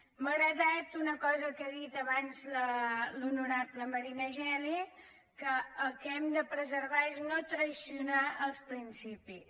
m’ha agradat una cosa que ha dit abans l’honorable marina geli que el que hem de preservar és no trair els principis